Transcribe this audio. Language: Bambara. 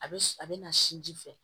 A bɛ a bɛ na sinji fɛ